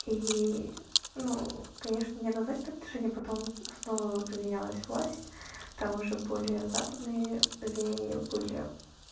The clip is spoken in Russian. и ну конечно не однозначное отношение потом снова поменялась власть там уже более западные веяния были